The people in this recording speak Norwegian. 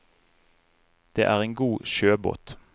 Det er en god sjøbåt.